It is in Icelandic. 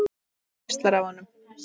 Það geislar af honum.